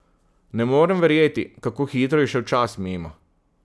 Ne morem verjeti, kako hitro je šel čas mimo.